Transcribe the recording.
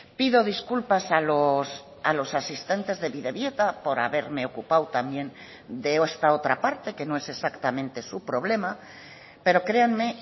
pido disculpas a los asistentes de bidebieta por haberme ocupado también de esta otra parte que no es exactamente su problema pero créanme